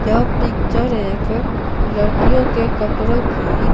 यह पिक्चर एक लड़कियों के कपड़ों की--